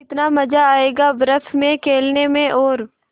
कितना मज़ा आयेगा बर्फ़ में खेलने में और